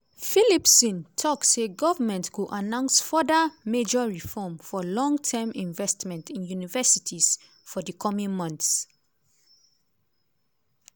phillipson tok say government go announce further "major reform" for long-term investment in universities for di coming months.